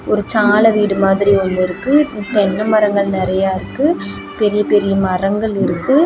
ஒரு சால வீடு மாதிரி ஒன்னு இருக்கு தென்ன மரங்கள் நறையா இருக்கு பெரிய பெரிய மரங்கள் இருக்கு.